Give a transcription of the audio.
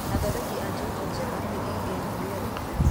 Athondeki a njohi njega nĩ EABL.